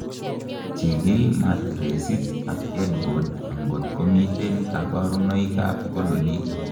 chikil matiresit ak headboard angot komiten kaborunoik ab kololik